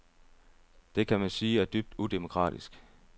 Det kan man sige er dybt udemokratisk.